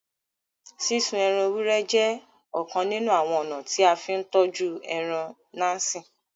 Sísún ẹran èwúrẹ̀ jẹ̀ ọ̀kàn nínu awọn ọna tí a n fì n tọ́jú ẹran násí.